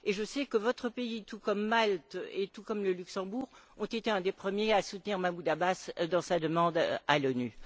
Je sais que votre pays, tout comme Malte et le Luxembourg, a été l'un des premiers à soutenir Mahmoud Abbas dans sa demande à l'ONU.